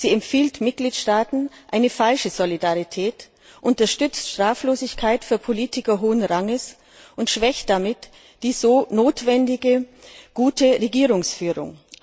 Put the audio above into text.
Sie empfiehlt Mitgliedstaaten eine falsche Solidarität, unterstützt Straflosigkeit für Politiker hohen Ranges und schwächt damit die notwendige gute Regierungsführung.